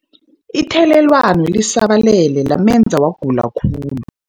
Ithelelwano lisabalele lamenza wagula khulu.